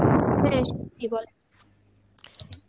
হ্যাঁ সুনছি বলেন